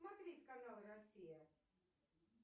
смотреть канал россия